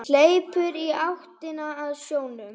Hleypur í áttina að sjónum.